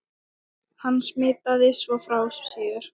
Hann smitaði svo frá sér.